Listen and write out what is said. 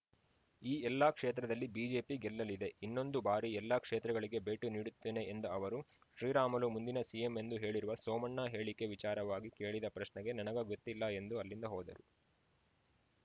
ಈ ಎಲ್ಲ ಕ್ಷೇತ್ರದಲ್ಲಿ ಬಿಜೆಪಿ ಗೆಲ್ಲಲಿದೆ ಇನ್ನೊಂದು ಬಾರಿ ಎಲ್ಲ ಕ್ಷೇತ್ರಗಳಿಗೆ ಭೇಟಿ ನೀಡುತ್ತೇನೆ ಎಂದ ಅವರು ಶ್ರೀರಾಮುಲು ಮುಂದಿನ ಸಿಎಂ ಎಂದು ಹೇಳಿರುವ ಸೋಮಣ್ಣ ಹೇಳಿಕೆ ವಿಚಾರವಾಗಿ ಕೇಳಿದ ಪ್ರಶ್ನೆಗೆ ನನಗೆ ಗೊತ್ತಿಲ್ಲ ಎಂದು ಅಲ್ಲಿಂದ ಹೋದೆ